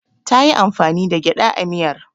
Ta yi amfani da gyaɗa a miyar.